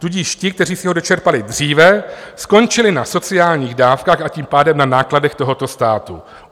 Tudíž ti, kteří si ho dočerpali dříve, skončili na sociálních dávkách, a tím pádem na nákladech tohoto státu.